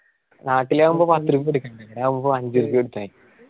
നാട്ടിലാവുമ്പോ